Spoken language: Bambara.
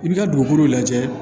I bi ka dugukolo lajɛ